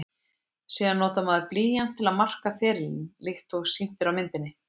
Síðan notar maður blýant til að marka ferilinn líkt og sýnt er á myndinni.